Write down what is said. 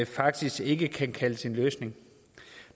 faktisk ikke kan kaldes en løsning